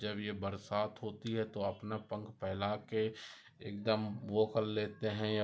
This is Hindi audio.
जब ये बरसात होती है तो अपना पंख फेला के एकदम वो कर लेते है या--